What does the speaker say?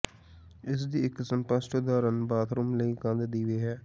ਇਸ ਦੀ ਇੱਕ ਸਪਸ਼ਟ ਉਦਾਹਰਣ ਬਾਥਰੂਮ ਲਈ ਕੰਧ ਦੀਵੇ ਹੈ